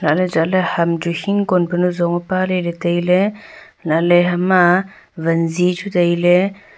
halakley chatley ham chu hingkon panu zong e paley tailey halahley hama wanji chu tailey.